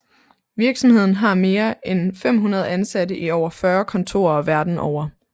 Virksomheden har mere end 500 ansatte i over 40 kontorer verden over